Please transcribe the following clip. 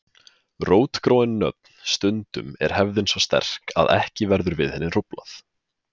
Rótgróin nöfn Stundum er hefðin svo sterk að ekki verður við henni hróflað.